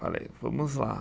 Falei, vamos lá.